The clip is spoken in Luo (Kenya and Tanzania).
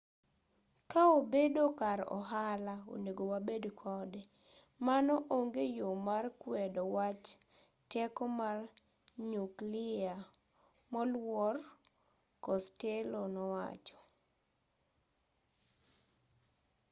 ka obedo kar ohala onego wabed kode mano onge yo mar kwedo wach teko mar nyukliya moluor costello nowacho